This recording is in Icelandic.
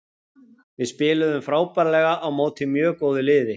Við spiluðum frábærlega á móti mjög góðu liðið.